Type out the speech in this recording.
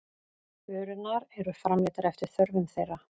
Vörurnar eru framleiddar eftir þörfum þeirra.